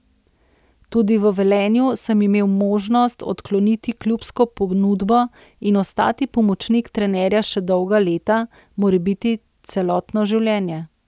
Tudi v Velenju sem imel možnost odkloniti klubsko ponudbo in ostati pomočnik trenerja še dolga leta, morebiti celotno življenje.